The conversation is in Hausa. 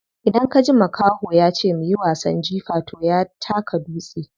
Idan kaji makaho yace muyi wasan jifa toh ya taka dutse ne.